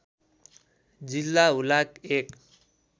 जिल्ला हुलाक १